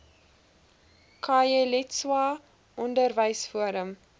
khayelitsha onderwys forum